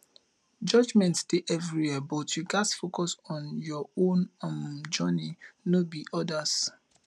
judgment dey everywhere but you gats focus on your own um journey no be odas